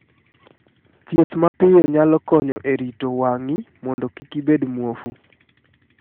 Thieth mapiyo nyalo konyo e rito wang�i mondo kik ibed muofu.